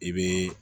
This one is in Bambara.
I bɛ